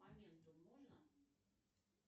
моментум можно